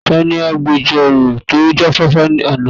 Ta ni agbejọ́rò tó jáfáfá àná yẹn?